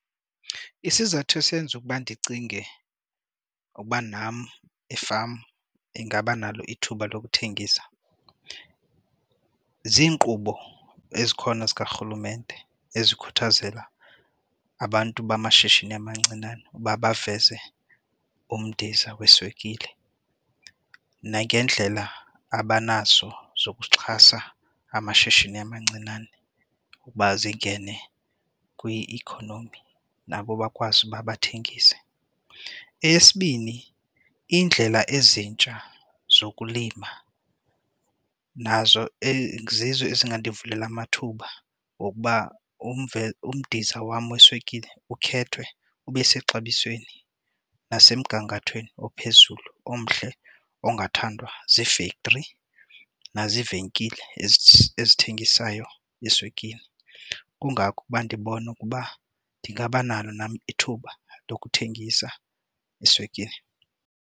Isizathu esenza ukuba ndicinge ukuba nam efama ingaba nalo ithuba lokuthengisa ziinkqubo ezikhona zikarhulumente ezikhuthazela abantu bamashishini amancinane uba baveze umdiza weswekile nangendlela abanazo zokuxhasa amashishini amancinane ukuba zingene kwi-economy nabo bakwazi uba bathengise. Eyesibini indlela ezintsha zokulima nazo zizo ezingandivulela amathuba wokuba umdiza wam weswekile ukhethwe ube sexabisweni nesemgangathweni ophezulu omhle ongathandwa zii-factory naziivenkile ezithengisayo iswekile. Kungako ukuba ndibona ukuba ndingabanalo nam ithuba lokuthengisa iswekile.